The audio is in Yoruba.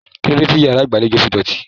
Kilode ti yàrá ìgbàlèjo fí dótì?